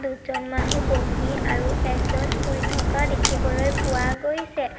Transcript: দুজন মানুহ বহি আৰু এজন শুই থকা দেখিবলৈ পোৱা গৈছে।